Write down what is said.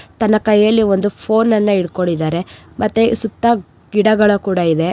ತನ್ನ ಕೈಯಲ್ಲಿ ಒಂದು ಫೋನ್ ಎಲ್ಲ ಹಿಡ್ಕೊಂಡಿದಾರೆ ಮತ್ತೆ ಸುತ್ತ ಗಿಡಗಳು ಕೂಡಾ ಇದೆ.